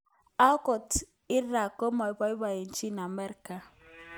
Angot klra komapaipochi Amerika